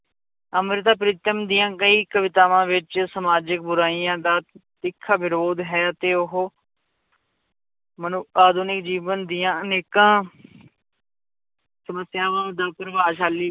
ਅੰਮ੍ਰਿਤਾ ਪ੍ਰੀਤਮ ਦੀਆਂ ਕਈ ਕਵਿਤਾਵਾਂ ਵਿੱਚ ਸਮਾਜਿਕ ਬੁਰਾਈਆਂ ਦਾ ਤਿੱਖਾ ਵਿਰੋਧ ਹੈ ਤੇ ਉਹ ਮਨੁ ਆਧੁਨਿਕ ਜੀਵਨ ਦੀਆਂ ਅਨੇਕਾਂ ਸਮੱਸਿਆਵਾਂ ਦਾ ਪ੍ਰਭਾਵਸ਼ਾਲੀ